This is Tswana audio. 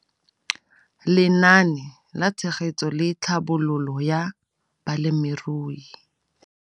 Lenaane la Tshegetso le Tlhabololo ya Balemirui.